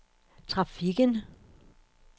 trafikken